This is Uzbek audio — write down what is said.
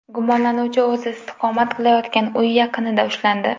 Gumonlanuvchi o‘zi istiqomat qilayotgan uy yaqinida ushlandi.